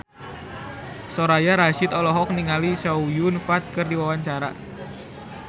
Soraya Rasyid olohok ningali Chow Yun Fat keur diwawancara